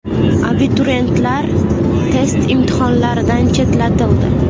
Abituriyentlar test imtihonlaridan chetlatildi.